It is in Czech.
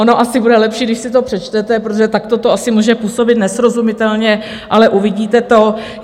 Ono asi bude lepší, když si to přečtete, protože takto to asi může působit nesrozumitelně, ale uvidíte to.